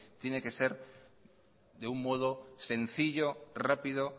tiene que ser de un modo sencillo rápido